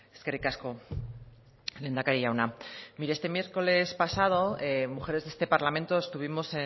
eskerrik asko lehendakari jauna mire este miércoles pasado mujeres de este parlamento estuvimos